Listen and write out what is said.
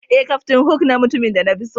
Eh, captain hook na mutumin da na fi so.